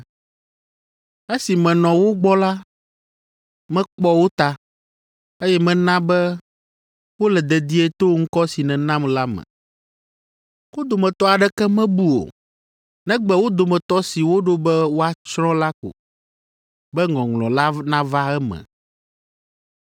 Esi menɔ wo gbɔ la, mekpɔ wo ta, eye mena be wole dedie to ŋkɔ si nènam la me. Wo dometɔ aɖeke mebu o, negbe wo dometɔ si woɖo be woatsrɔ̃ la ko, be ŋɔŋlɔ la nava eme.